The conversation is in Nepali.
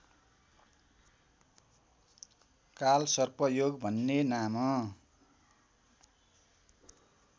कालसर्पयोग भन्ने नाम